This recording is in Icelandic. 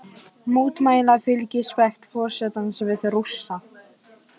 Mótmæla fylgispekt forsetans við Rússa